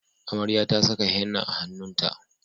Amarya ta saka henna a hannunt